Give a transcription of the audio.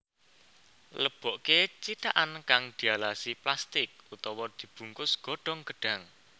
Lebokké cithakan kang dialasi plastik utawa dibungkus godhong gedhang